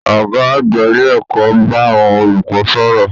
Ọgá àgbà ilé ẹ̀kọ́ n bá àwọn olùkọ sọ̀rọ̀.